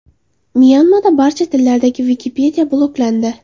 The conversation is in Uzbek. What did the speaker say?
Myanmada barcha tillardagi Wikipedia bloklandi.